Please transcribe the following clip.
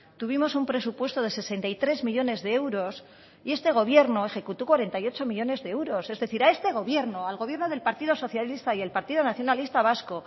tuvimos un presupuesto de sesenta y tres millónes de euros y este gobierno ejecutó cuarenta y ocho millónes de euros es decir a este gobierno al gobierno del partido socialista y el partido nacionalista vasco